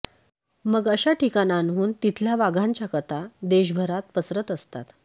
मग अशा ठिकाणांहून तिथल्या वाघांच्या कथा देशभरात पसरत असतात